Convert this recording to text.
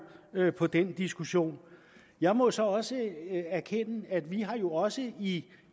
på den diskussion jeg må så også erkende at vi jo også i